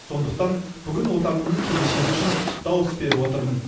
сондықтан бүгін отанымның келешегі үшін дауыс беріп отырмын